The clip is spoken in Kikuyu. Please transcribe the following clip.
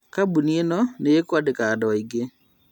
Kambuni ĩno nĩĩkwandĩka andũ aingĩ